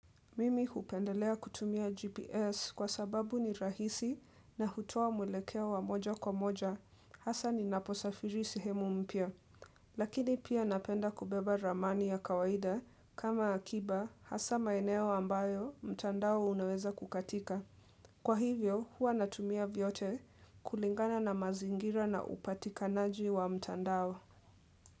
Mimi hupendelea kutumia GPS kwa sababu ni rahisi na hutoa mwelekeo wa moja kwa moja hasa ni ninaposafiri sehemu mpya. Lakini pia napenda kubeba ramani ya kawaida kama akiba hasa maeneo ambayo mtandao unaweza kukatika. Kwa hivyo huwa natumia vyote kulingana na mazingira na upatikanaji wa mtandao.